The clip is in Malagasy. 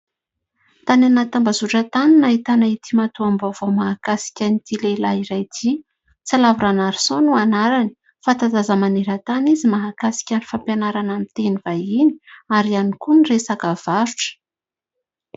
Tany anaty tambazotra tany no nahitana ity matoam-baovao mahakasika an'ity lehilahy iray ity. Tsilavo Ranarison no anarany fantatranta-daza maneran-tany izy mahakasika ny fampianarana ny teny vahiny ary ihany koa ny resaka varotra.